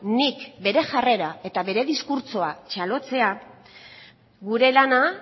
nik bere jarrera eta bere diskurtsoa txalotzea gure lana